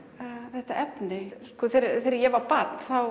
þetta efni þegar ég var barn þá